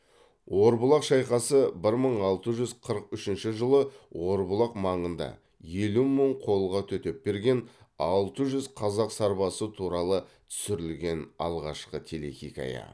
орбұлақ шайқасы бір мың алты жүз қырық үшінші жылы орбұлақ маңында елу мың қолға төтеп берген алты жүз қазақ сарбазы туралы түсірілген алғашқы телехикая